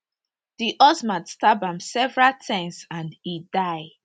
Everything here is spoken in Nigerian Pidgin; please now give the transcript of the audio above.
di husband stab am several times and e die